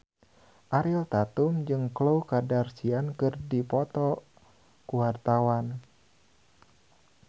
Ariel Tatum jeung Khloe Kardashian keur dipoto ku wartawan